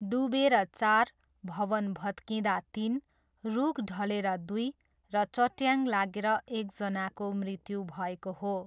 डुबेर चार, भवन भत्किँदा तिन, रुख ढलेर दुई र चट्याङ लागेर एकजनाको मृत्यु भएको हो।